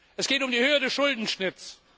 Es geht um die Höhe des Schuldenschnitts.